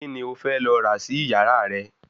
Kíni ó fẹ́ lọ rà sí ìyàra rẹ̀?